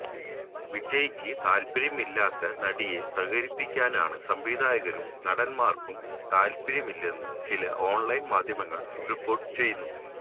വിജയിക്ക് താല്പര്യമില്ലാത്ത നടിയെ സഹകരിപ്പിക്കാന് സംവിധായകര്ക്കും നടന്മാര്ക്കും താല്പര്യമില്ലെന്ന് ചില ഓണ്ലൈന് മാധ്യമങ്ങള് റിപ്പോര്ട്ട് ചെയ്യുന്നു